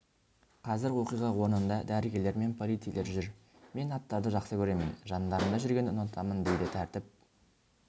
қазір оқиға орнында дәрігерлер мен полицейлер жүр мен аттарды жақсы көремін жандарында жүргенді ұнатамын дейді тәртіп